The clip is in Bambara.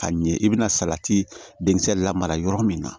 Ka ɲɛ i bɛna salati denkisɛ lamara yɔrɔ min na